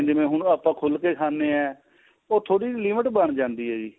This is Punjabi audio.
ਜਿਵੇਂ ਹੁਣ ਆਪਾਂ ਖੁਲ ਕੇ ਖਾਣੇ ਆ ਉਹ ਥੋੜੀ limit ਬਣ ਜਾਂਦੀ ਏ ਜੀ